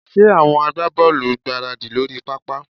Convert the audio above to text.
Ṣé àwọn agbábọ́ọ̀lù ń gbáradì lórí pápá?